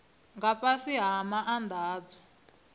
nga fhasi ha maana adzo